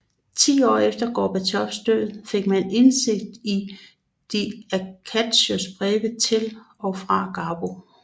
Ti år efter Garbos død fik man indsigt i de Acostas breve til og fra Garbo